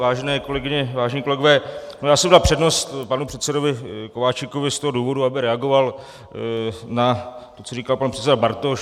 Vážené kolegyně, vážení kolegové, já jsem dal přednost panu předsedovi Kováčikovi z toho důvodu, aby reagoval na to, co říkal pan předseda Bartoš.